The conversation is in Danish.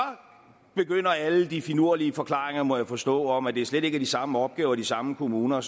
begynder alle de finurlige forklaringer må jeg forstå om at det slet ikke af de samme opgaver og de samme kommuner og